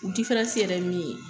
yɛrɛ ye min ye.